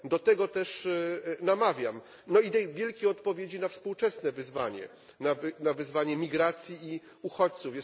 Do tego też namawiam, no i tej wielkiej odpowiedzi na współczesne wyzwanie, na wyzwanie migracji i uchodźców.